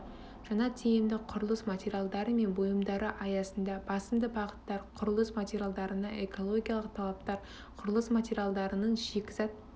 жаңа тиімді құрылыс материалдары мен бұйымдары аясында басымды бағыттар құрылыс материалдарына экологиялық талаптар құрылыс материалдарының шикізат